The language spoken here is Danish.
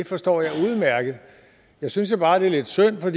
forstår jeg udmærket jeg synes bare det er lidt synd for